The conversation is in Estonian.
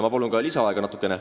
Ma palun natukene lisaaega!